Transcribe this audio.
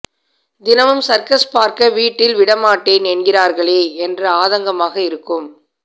தினமும் சர்க்கஸ் பார்க்க வீட்டில் விடமாட்டேன் என்கிறார்களே என்ற ஆதங்கமாக இருக்கும்